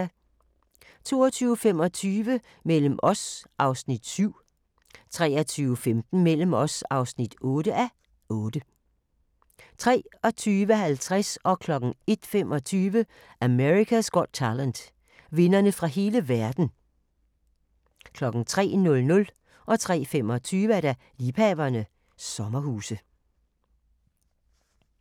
22:25: Mellem os (7:8) 23:15: Mellem os (8:8) 23:50: America's Got Talent - vindere fra hele verden 01:25: America's Got Talent - vindere fra hele verden 03:00: Liebhaverne - sommerhuse 03:25: Liebhaverne - sommerhuse